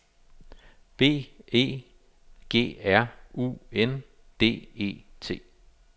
B E G R U N D E T